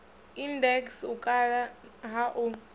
index u kala ha u